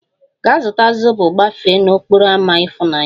Gaa zụta zobo gafee n'okporo ámá ifunanya!